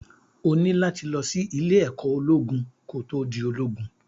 O ní láti lọ sí ìlé-ẹ̀kọ́ ológun ko tó di ológun.